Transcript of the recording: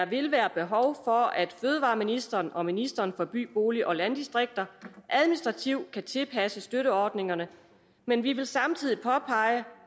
vil være behov for at fødevareministeren og ministeren for by bolig og landdistrikter administrativt kan tilpasse støtteordningerne men vi vil samtidig påpege